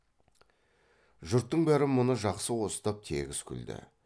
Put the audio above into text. жұрттың бәрі мұны жақсы қостап тегіс күлді